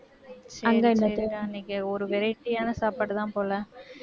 ஒரு variety ஆன சாப்பாடுதான் போல